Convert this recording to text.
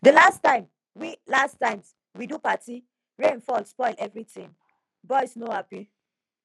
di last time we last time we do party rain fall spoil everything boys no happy